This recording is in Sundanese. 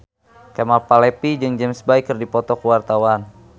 Kemal Palevi jeung James Bay keur dipoto ku wartawan